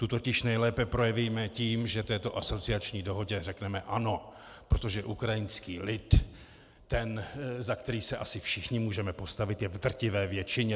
Tu totiž nejlépe projevíme tím, že této asociační dohodě řekneme ano, protože ukrajinský lid, ten, za který se asi všichni můžeme postavit, je v drtivé většině.